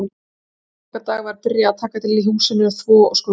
Snemma á aðfangadag var byrjað að taka til í húsinu, þvo og skrúbba